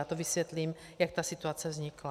Já to vysvětlím, jak ta situace vznikla.